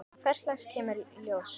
Hvers lags kemur í ljós.